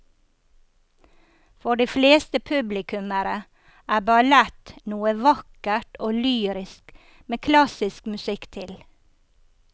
For de fleste publikummere er ballett noe vakkert og lyrisk med klassisk musikk til.